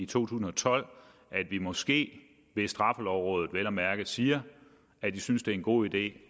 tusind og tolv at vi måske hvis straffelovrådet vel at mærke siger at de synes det er en god idé